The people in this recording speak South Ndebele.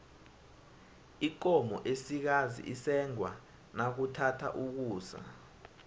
ikomo esikazi isengwa nakuthatha ukusa